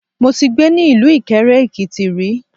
Mo ti gbé ni ilú Ìkẹrẹ-Èkìti ri